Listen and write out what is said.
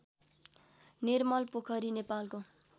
निर्मलपोखरी नेपालको